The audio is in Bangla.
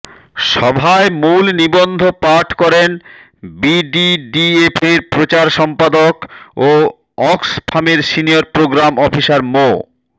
সভায় মূল নিবন্ধ পাঠ করেন বিডিডিএফের প্রচার সম্পাদক ও অক্সফামের সিনিয়র প্রোগ্রাম অফিসার মো